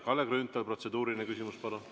Kalle Grünthal, protseduuriline küsimus, palun!